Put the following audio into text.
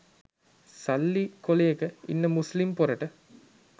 සල්ලි කොලේක ඉන්න මුස්ලිම් පොරට